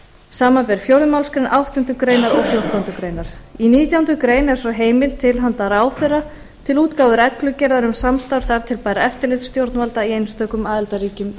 samanber fjórðu málsgrein áttundu greinar og fjórtándu greinar í nítjánda grein er svo heimild til handa ráðherra til útgáfu reglugerðar um samstarf þar til bærra eftirlitsstjórnvalda í einstökum aðildarríkjum